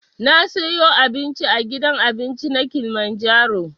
Na siyo abinci a gidan abincin na kilimanjaro